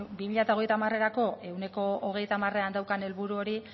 bi mila hogeita hamarerako ehuneko hogeita hamarean daukan helburu hori